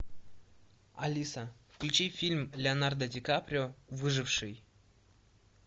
алиса включи фильм леонардо ди каприо выживший